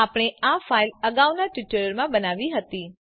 આપણે આ ફાઈલ અગાઉના ટ્યુટોરીયલમાં બનાવી હતી